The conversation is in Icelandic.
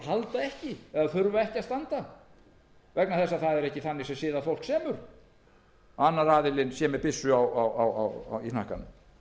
halda ekki eða þurfa ekki að standa vegna þess að það er ekki þannig sem siðað fólk semur að annar aðilinn sé með byssu í hnakkanum